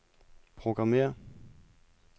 programmér